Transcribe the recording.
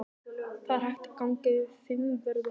Það er hægt að ganga yfir Fimmvörðuháls.